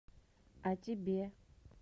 а тебе